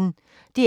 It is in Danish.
DR P1